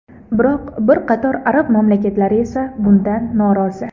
Biroq bir qator arab mamlakatlari esa bundan norozi.